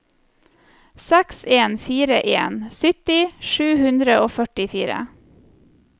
seks en fire en sytti sju hundre og førtifire